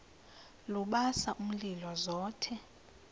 lubasa umlilo zothe